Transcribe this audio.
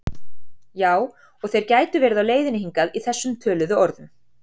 Já og þeir gætu verið á leiðinni hingað í þessum töluðu orðum